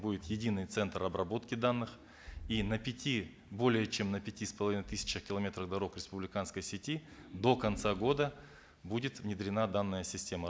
будет единый центр обработки данных и на пяти более чем на пяти с половиной тысячах километров дорог республиканской сети до конца года будет внедрена данная система